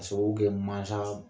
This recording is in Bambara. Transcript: Ka sababu kɛ mansa